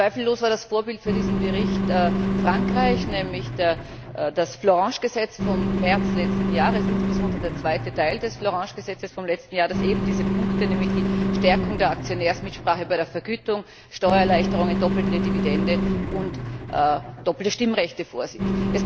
Zweifellos war das Vorbild für diesen Bericht Frankreich, nämlich das Florange Gesetz vom März letzten Jahres insbesondere der zweite Teil des Florange Gesetzes vom letzten Jahr, das eben diese Punkte, nämlich die Stärkung der Aktionärsmitsprache bei der Vergütung, Steuererleichterungen, doppelte Dividende und doppelte Stimmrechte vorsieht.